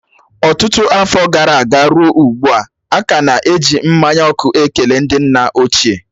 Ọtụtụ afọ gara aga ruo ugbu a, a ka na-eji mmanya ọkụ ekele ndị nna ochie